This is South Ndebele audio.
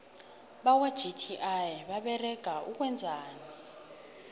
bakwa gti baberega ukwenzani